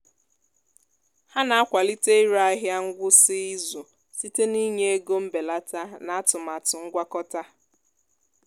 ha na-akwalite ire ahịa ngwụsị izu site n'ịnye ego mbelata na atụmatụ ngwakọta